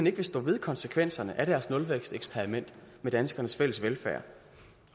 ikke vil stå ved konsekvenserne af deres nulvæksteksperiment med danskernes fælles velfærd